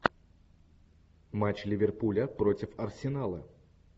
матч ливерпуля против арсенала